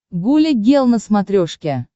гуля гел на смотрешке